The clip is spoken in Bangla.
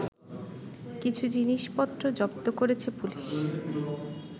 কিছু জিনিসপত্র জব্দ করেছে পুলিশ